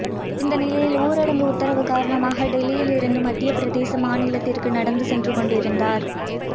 இந்த நிலையில் ஊரடங்கு உத்தரவு காரணமாக டெல்லியில் இருந்து மத்திய பிரதேச மாநிலத்திற்கு நடந்து சென்றுகொண்டிருந்தார்